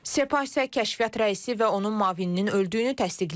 Sepah isə kəşfiyyat rəisi və onun müavininin öldüyünü təsdiqləyib.